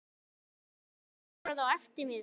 Hann öskraði á eftir mér.